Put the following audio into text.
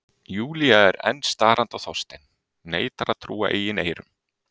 Júlía þar enn starandi á Þorstein, neitar að trúa eigin eyrum.